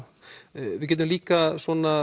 við getum líka